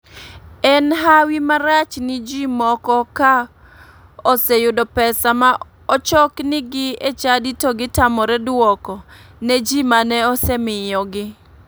En hawi marach ni ji moko ka oseyudo pesa ma ochoknigi e chadi to gitamore duoko ne ji mane osemiyogi.